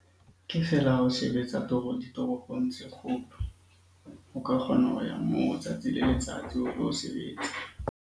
Ke feela ho sebetsa ditoropong tse kgolo o ka kgona ho ya moo tsatsi le letsatsi o tlo sebetsa.